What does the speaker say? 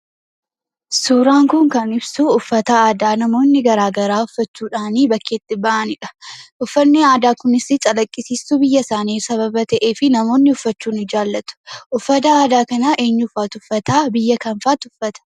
Suuraan kun kan ibsu uffata aadaa namoonni garagaraa uffachuudhaanii bakkeetti bahanidha. Uffanni aadaa kunisii calaqqisiistuu biyya isaanii sababa ta'eefi namoonni uffachuu ni jaalatu. Uffata aadaa kana eenyufaatu uffataa biyya kamfaatti uffata?